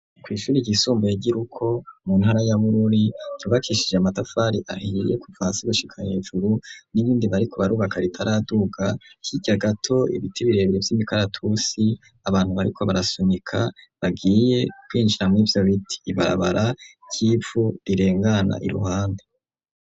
Kw;ishure ryisumbuye giruko mu ntara yabururi ryubakishije amatafari ahiye kuva hsa gushika hejuru n'ibindi bariko barubaka ritaraduga hirya gato ibiti birebere vy'imikaratusi abantu bariko barasunika bagiye kwinjira mur' ivyo biti ibarabara ry'ivu rirengana i ruhande.